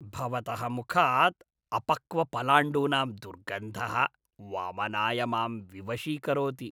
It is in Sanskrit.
भवतः मुखात् अपक्वपलाण्डूनां दुर्गन्धः वमनाय मां विवशीकरोति।